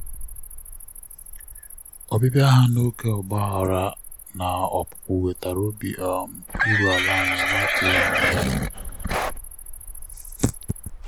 ọbịbịa ha n'oge um ọgbaghara na opupu wetara obi um iru ala anyị na-atụghị anya um ya.